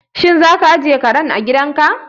Shin za ka ajiye kare a gidan ka?